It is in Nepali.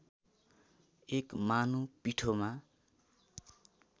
एक मानो पिठोमा